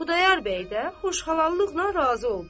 Xudayar bəy də xoşxallıqla razı oldu.